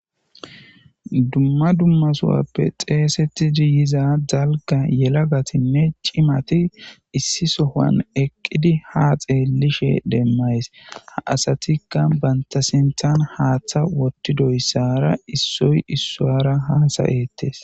dumma dummasowappe xeesetidi yiza dalga yelagatinne cimati issi sohan eqqidi ha xeellishe demmays ha asatikka bantasinthan haaththa wottidoyssara issoy issuwara haasayettes